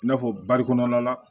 I n'a fɔ bari kɔnɔna la